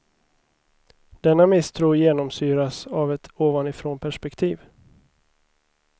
Denna misstro genomsyras av ett ovanifrånperspektiv.